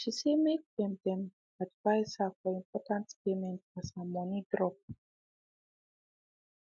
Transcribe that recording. she say make them them advice her for important payment as her money drop